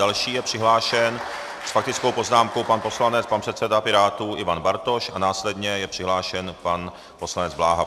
Další je přihlášen s faktickou poznámkou pan poslanec, pan předseda Pirátů Ivan Bartoš, a následně je přihlášen pan poslanec Bláha.